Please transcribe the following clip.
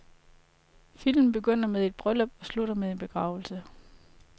Filmen begynder med et bryllup og slutter med en begravelse.